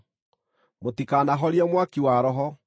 Mũtikanahorie mwaki wa Roho;